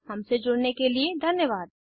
हमसे जुड़ने के लिए धन्यवाद